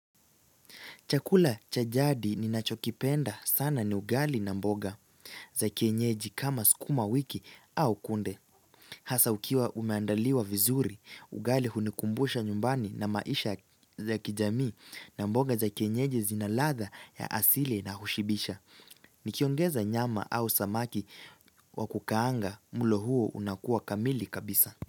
Chakula cha jadi ninachokipenda sana ni ugali na mboga za kienyeji kama skuma wiki au kunde. Hasa ukiwa umeandaliwa vizuri, ugali hunikumbusha nyumbani na maisha za kijamii na mboga za kenyeji zina ladha ya asili na hushibisha. Nikiongeza nyama au samaki wa kukaanga mlo huo unakuwa kamili kabisa.